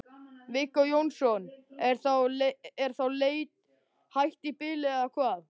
Viggó Jónsson: Er þá leit hætt í bili eða hvað?